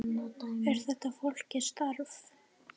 Er þetta flókið starf?